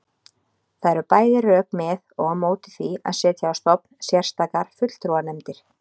Það eru bæði rök með og á móti því að setja á stofn sérstakar fulltrúanefndir.